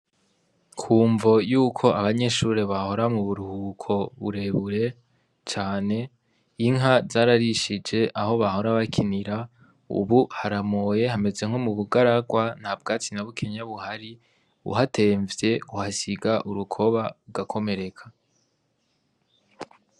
Ku mvo y'uko abanyeshure bahora mu buruhuko burebure cane ,inka zararishije aho bahora bakinira ubu haramoye hameze nko mu bugararwa nta bwatsi na bukeya buhari uhatemvye uhasiga urukoba, ugakomereka.